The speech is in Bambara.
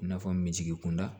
I n'a fɔ me jigi kunda